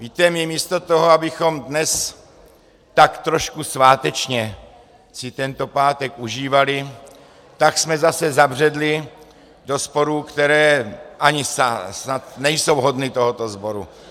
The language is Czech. Víte, my místo toho, abychom dnes tak trošku svátečně si tento pátek užívali, tak jsme zase zabředli do sporů, které snad ani nejsou hodny tohoto sboru.